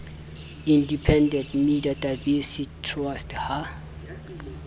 independent media diversity trust ha